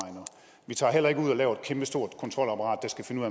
vi tager heller ikke ud og laver et kæmpestort kontrolapparat der skal finde